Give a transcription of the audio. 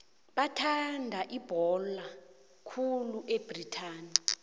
bathanda ibhola khulu ebritani